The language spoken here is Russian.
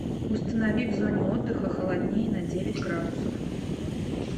установи в зоне отдыха холоднее на девять градусов